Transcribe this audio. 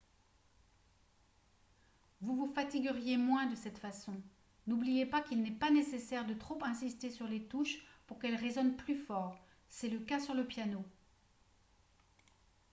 vous vous fatigueriez moins de cette façon n'oubliez pas qu'il n'est pas nécessaire de trop insister sur les touches pour qu'elles résonnent plus fort c'est le cas sur le piano